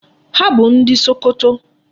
Ha bụ ndị Sokoto.